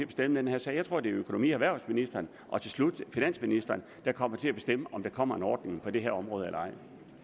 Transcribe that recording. den her sag jeg tror det er økonomi og erhvervsministeren og til slut finansministeren der kommer til at bestemme om der kommer en ordning på det her område eller